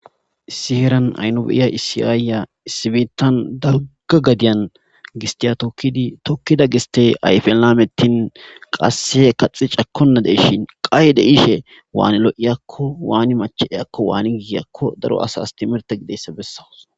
Issi heeran ha nu be'iya issi aayiya biittan dalgga gadiyan gisttiya tokkidi tokkida gisttey ayfen laametin qasse kaxxi cakkona de'ishin qaye be'ishe waani lo'iyaakko waani machcha'iyaakko waani giigiyaakko daro asas timirte gidiyayssa bessawus.